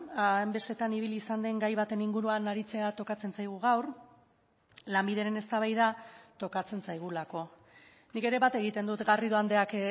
hainbestetan ibili izan den gai baten inguruan aritzea tokatzen zaigu gaur lanbideren eztabaida tokatzen zaigulako nik ere bat egiten dut garrido andreak